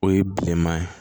O ye bilenman ye